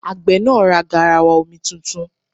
Àgbẹ̀ náà ra garawa omi tuntun.